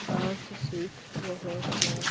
Dance सीख रहे हैं।